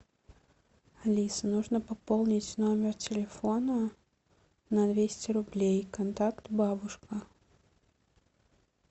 алиса нужно пополнить номер телефона на двести рублей контакт бабушка